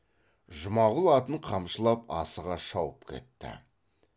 жұмағұл атын қамшылап асыға шауып кетті